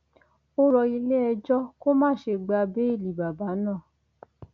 ó rọ iléẹjọ kó má ṣe gba béèlì bàbá náà